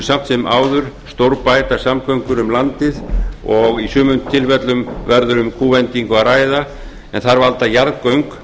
samt sem áður stórbæta samgöngur um landið og í sumum tilfellum verður um kúvendingu að ræða en þar valda jarðgöng